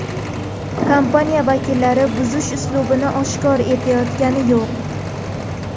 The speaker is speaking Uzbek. Kompaniya vakillari buzish uslubini oshkor etayotgani yo‘q.